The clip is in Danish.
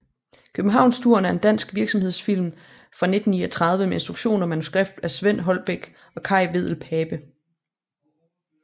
Københavnsturen er en dansk virksomhedsfilm fra 1939 med instruktion og manuskript af Svend Holbæk og Kaj Wedell Pape